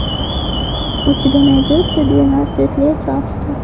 у тебя найдется двенадцать лет рабства